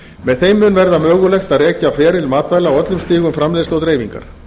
með þeim mun verða mögulegt að rekja feril matvæla á öllum stigum framleiðslu og dreifingar